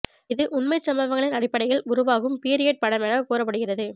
இது உண்மைச் சம்பவங்களின் அடிப்படையில் உருவாகும் பீரியட் படம் என கூறப்படுகிறது